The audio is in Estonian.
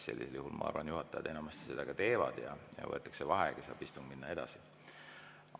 Sellisel juhul, ma arvan, juhataja enamasti seda ka teeb, võetakse vaheaeg ja istung saab minna edasi.